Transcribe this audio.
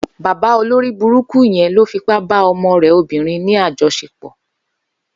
Bàbá ólóribúrúkú yèn ló fipá bá ọmọ rẹ óbìrín ni àjọṣépọ